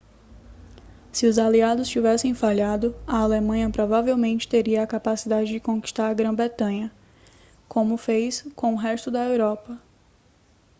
se os aliados tivessem falhado a alemanha provavelmente teria a capacidade de conquistar a grã-bretanha como fez com o resto da europa